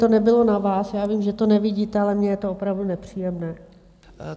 To nebylo na vás, já vím, že to nevidíte, ale mně je to opravdu nepříjemné.